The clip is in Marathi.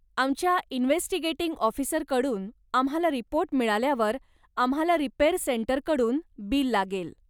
आमच्या इन्व्हेस्टिगेटिंग ऑफिसरकडून आम्हाला रिपोर्ट मिळाल्यावर आम्हाला रिपेअर सेंटरकडून बिल लागेल.